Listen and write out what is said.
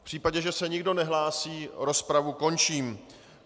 V případě, že se nikdo nehlásí, rozpravu končím.